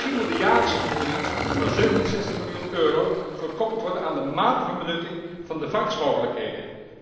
Misschien moet de jaarlijkse vergoeding van 67 miljoen euro gekoppeld worden aan de mate van benutting van de vangstmogelijkheden.